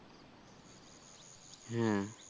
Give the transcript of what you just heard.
হ্যাঁ